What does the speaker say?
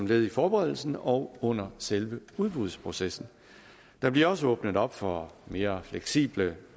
led i forberedelsen og under selve udbudsprocessen der bliver også åbnet op for mere fleksible